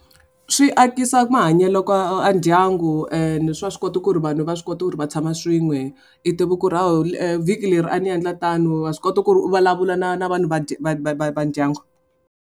Swi akisa mahanyelo ka ndyangu and swa swi kota ku ri vanhu va swi kota ku ri va tshama swin'we i tiva vhiki leri a ni endla tano va swi kota ku ri u vulavula na na vanhu va va va va va ndyangu.